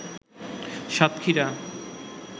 Satkhira